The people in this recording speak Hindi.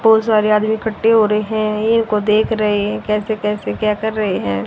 बहोत सारे आदमी इखट्टे हो रहे हैं इनको देख रहे हैं कैसे कैसे क्या कर रहे हैं।